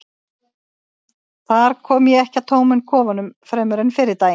þar kom ég ekki að tómum kofanum fremur en fyrri daginn